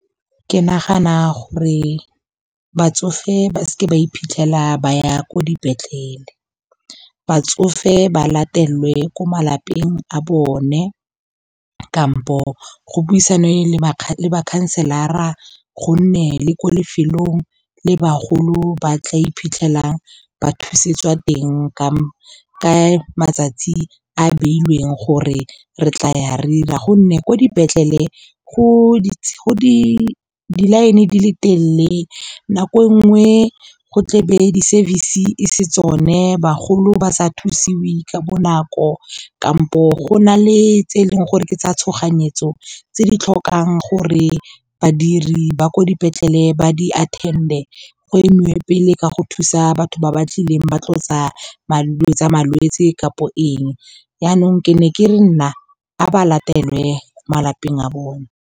Ke nagana gore batsofe ba seke ba iphitlhela ba ya ko dipetlele. Batsofe ba latelwe ko malapeng a bone kampo go buisana le ma council-ara, gonne le ko lefelong le bagolo ba tla iphitlhelang ba thusetswa teng ka matsatsi a beilweng gore re tla ya re 'ira. Gonne ko dipetlele go di-line di le telele, nako nngwe go tle be di-service-e, e se tsone bagolo ba sa thusiwe ka bonako. Kampo go na le tse e leng gore ke tsa tshoganyetso tse di tlhokang gore badiri ba ko dipetlele ba di attend-e go emiwe pele ka go thusa batho ba ba tlileng ba tlo tsa malwetse kampo eng, yanong ke ne ke re nna a ba latelwe malapeng a bone.